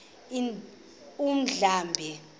undlambe